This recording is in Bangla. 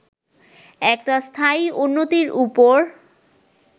একটা স্থায়ী উন্নতির উপর